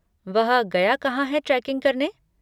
वह गया कहाँ है ट्रेकिंग करने?